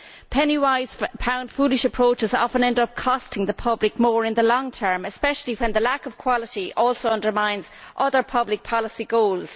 Penny wise, pound foolish' approaches often end up costing the public more in the long term, especially when the lack of quality also undermines other public policy goals.